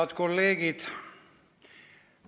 Head kolleegid!